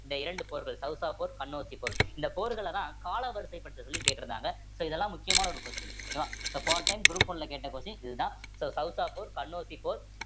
இந்த இரண்டு போர்கள் சௌசா போர், கன்னௌசி போர் இந்த போர்கள்லதான் காலாவரிசை பண்ண சொல்லி கேட்டிருந்தாங்க so இதெல்லாம் முக்கியமான ஒரு question okay வா so போன time group one ல கேட்ட question இதுதான் so சௌசா போர், கன்னௌசி போர்